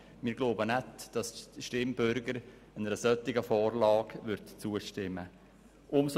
Wir glauben nicht, dass die Stimmbürger einer solchen Vorlage zustimmen würden.